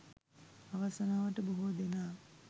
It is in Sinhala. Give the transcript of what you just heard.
අවාසනාවට බොහෝ දෙනා